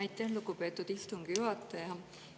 Aitäh, lugupeetud istungi juhataja!